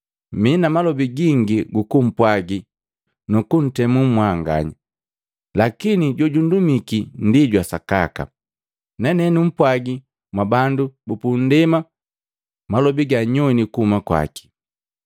Mii na malobi gingi gukumpwagi nu kuntemu mwanganya. Lakini jojundumiki ndi jwa sakaka, nane numpwaagi mwabandu bupundema malobi ganyowini kuhuma kwaki.”